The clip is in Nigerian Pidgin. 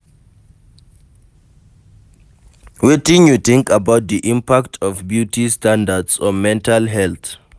Wetin you think about di impact of beauty standards on mental health?